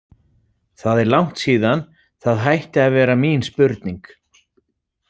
Það er langt síðan það hætti að vera mín spurning.